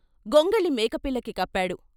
గొంగళి మేకపిల్లకి కప్పాడు.